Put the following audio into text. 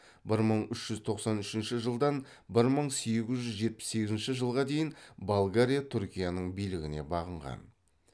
бір мың үш жүз тоқсан үшінші жылдан бір мың сегіз жүз жетпіс сегізінші жылға дейін болгария түркияның билігіне бағынған